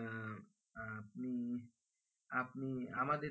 আপনি আমাদের